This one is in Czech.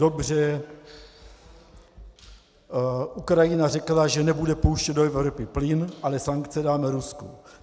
Dobře, Ukrajina řekla, že nebude pouštět do Evropy plyn, ale sankce dáme Rusku.